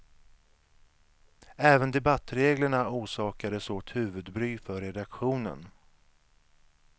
Även debattreglerna orsakade svårt huvudbry för redaktionen.